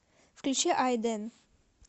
включи ай дэн